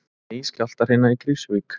Ný skjálftahrina í Krýsuvík